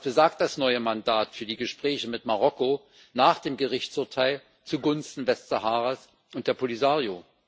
Was besagt das neue Mandat für die Gespräche mit Marokko nach dem Gerichtsurteil zugunsten Westsaharas und der Polisario?